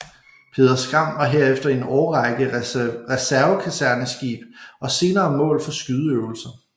Peder Skram var herefter i en årrække reservekaserneskib og senere mål for skydeøvelser